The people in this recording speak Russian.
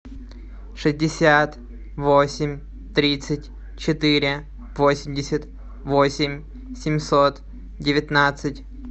шестьдесят восемь тридцать четыре восемьдесят восемь семьсот девятнадцать